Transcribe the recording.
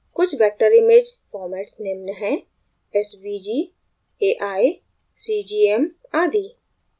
कुछ vector image formats निम्न हैं: svg ai cgm आदि